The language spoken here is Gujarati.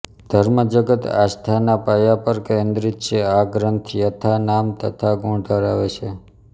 ધર્મ જગત આસ્થાના પાયા પર કેન્દ્રીત છે આ ગ્રંથ યથા નામ તથા ગુણ ધરાવે છે